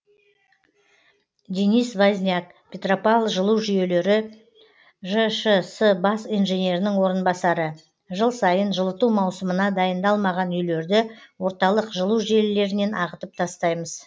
денис возняк петропавл жылу жүйелері жшс бас инженерінің орынбасары жыл сайын жылыту маусымына дайындалмаған үйлерді орталық жылу желілерінен ағытып тастаймыз